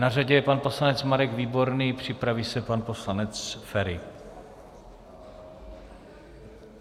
Na řadě jej pan poslanec Marek Výborný, připraví se pan poslanec Feri.